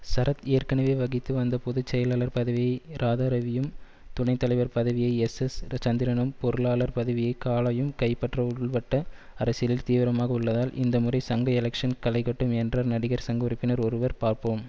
சரத் ஏற்கனவே வகித்து வந்த பொது செயலாளர் பதவியை ராதாரவியும் துணை தலைவர் பதவியை எஸ்எஸ் சந்திரனும் பொருளாளர் பதவியை காளையும் கைப்பற்ற உள்வட்ட அரசியலில் தீவிரமாக உள்ளதால் இந்த முறை சங்க எலெக்ஷ்ன் களைகட்டும் என்றார் நடிகர் சங்க உறுப்பினர் ஒருவர் பார்ப்போம்